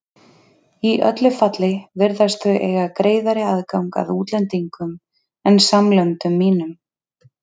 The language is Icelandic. Í öllu falli virðast þau eiga greiðari aðgang að útlendingum en samlöndum mínum.